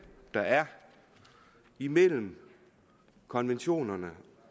der er imellem konventionerne